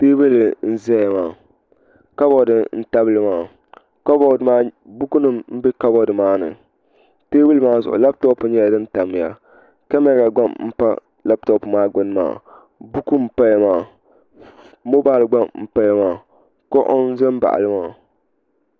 teebuli n ʒɛya kabood n tabili maa buku nim n bɛ kabood maa ni teebuli maa zuɣu labtop nyɛla din tamya kamɛra gba n pa labtop maa gbuni maa buku npaya maa moobal gba n paya maa kuɣu n ʒɛ n baɣali maa